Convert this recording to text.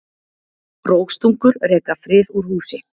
Rógstungur reka frið úr húsi.